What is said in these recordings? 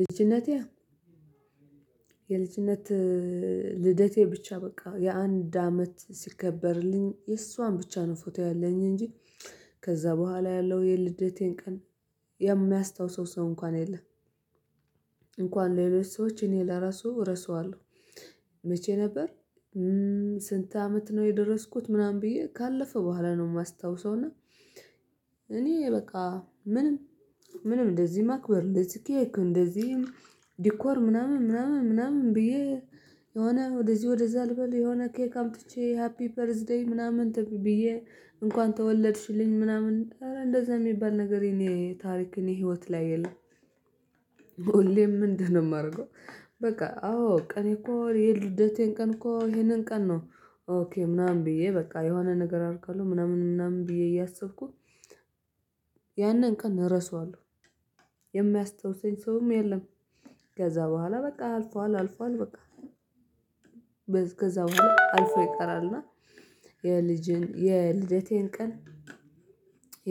ልጅነቴ የልጅነት ልደቴ ብቻ በቃ የአንድ አመት ሲከበርልኝ የእሷን ብቻ ነው ፎቶ ያለኝ እንጂ ከዛ በኋላ ያለው የልደቴን ቀን የሚያስታውሰው ሰው እንኳን የለም። እንኳን ሌሎች ሰዎች እኔ ለራሱ እረሳዋለሁ። መቼ ነበር? ስንት አመት ነው የደረስኩት ምናምን ብዬ ካለፈ በኋላ ነው የማስታውሰው። እና እኔ በቃ ምንም ምንም እንደዚህ ማክበር እንደዚህ ኬክ እንደዚህ ዲኮር ምናምን ምናምን ምናምን ብዬ የሆነ ወደዚህ ወደዛ ልበል የሆነ ኬክ አምጥቼ ሃፒ በርዝ ዴይ ምናምን ተ ብዬ እንኳን ተወለድሽልኝ ምናምን እንደዛ የሚባል ነገር የኔ ታሪክ እኔ ህይወት ላይ የለም። ሁሌም ምንድነው የማደርገው? በቃ አዎ ቀኔ እኮ የልደቴን ቀን እኮ ይሄንን ቀን ነው። ኦኬ ምናምን ብዬ በቃ የሆነ ነገር አደርጋለሁ ምናምን ምናምን ብዬ እያሰብኩ ያንን ቀን እረሳዋለሁ የሚያስታውሰኝ ሰውም የለም። ከዛ በኋላ በቃ አልፏል አልፏል በቃ። ከዛ በኋላ አልፎ ይቀራልና። የልጅን የልደቴን ቀን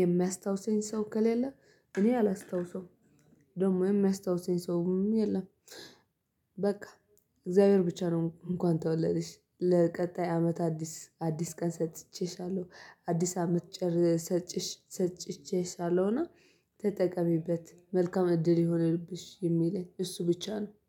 የሚያስታውሰኝ ሰው ከሌለ እኔ አላስታውሰውም። ደግሞ የሚያስታውሰኝ ሰውም የለም። በቃ እግዚአብሔር ብቻ ነው እንኳን ተወለድሽ ለቀጣይ አመት አዲስ አዲስ ቀን ሰጥቼሻለሁ አዲስ አመት ጨር ሰጭሽ ሰጭቼሻለሁና ተጠቀሚበት መልካም እድል ይሁንብሽ የሚል እሱ ብቻ ነው